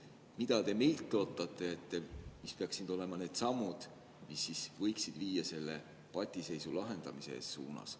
Mida te meilt ootate, mis peaksid olema need sammud, mis võiksid viia selle patiseisu lahendamiseni?